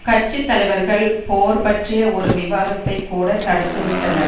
கட்சி தலைவர்கள் போர் பற்றிய ஒரு விவாதத்தைக்கூட தடுத்து விட்டனர்